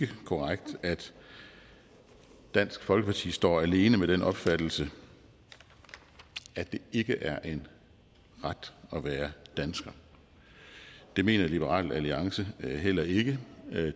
korrekt at dansk folkeparti står alene med den opfattelse at det ikke er en ret at være dansker det mener liberal alliance heller ikke